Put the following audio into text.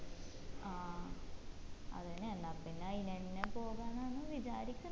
ആ അതന്നെ എന്ന പിന്ന അയിനെന്നെ പോവാനാന്ന് വിചാരിക്കിന്ന്‌